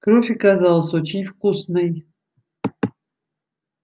кровь оказалась очень вкусной